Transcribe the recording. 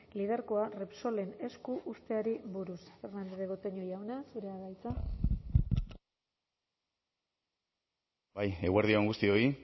lidergoa repsolen esku uzteari buruz fernandez de betoño jauna zurea da hitza bai eguerdi on guztioi